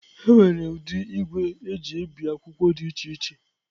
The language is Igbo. Enwere ụdị igwe eji ebi akwụkwọ dị iche iche.